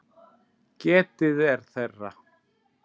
Getið er þeirra.